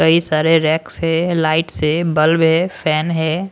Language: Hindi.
कई सारे रेक्स है लाइट्स है बल्ब है फैन है।